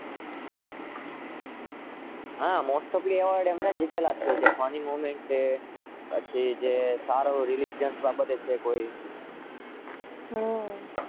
Funny moment છે.